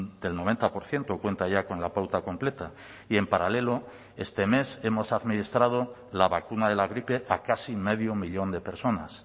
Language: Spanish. del noventa por ciento cuenta ya con la pauta completa y en paralelo este mes hemos administrado la vacuna de la gripe a casi medio millón de personas